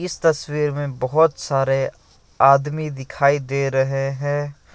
इस तस्वीर में बहोत सारे आदमी दिखाई दे रहे हैं।